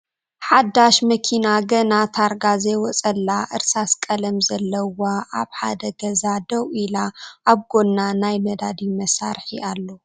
ሓዳሽ መኪና ገና ተርጋ ዘይወፀላ እርሳስ ቀለም ዘለዋ ኣብ ሓደ ገዛ ደው ኢላ ኣብ ጎና ናይ ነዳዲ መሳርሒ ኣሎ ።